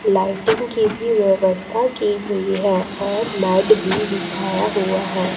Lighting की भी व्यवस्था की गई है और मैट भी बिछाया हुआ है।